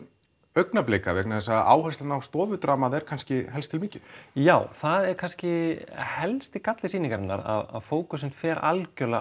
augnablika vegna þess að áherslan á er kannski helst til mikil já það er kannski helsti galli sýningarinnar að fókusinn fer algjörlega